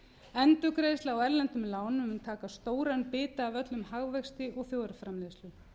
endurgreiðsla á erlendum lánum mun taka stóran bita af öllum hagvexti og þjóðarframleiðslu